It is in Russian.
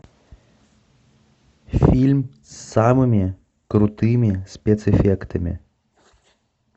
фильм с самыми крутыми спецэффектами